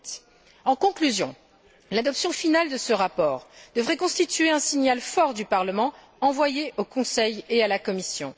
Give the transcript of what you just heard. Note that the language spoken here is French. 2008. En conclusion, l'adoption finale de ce rapport devrait constituer un signal fort du Parlement envoyé au Conseil et à la Commission.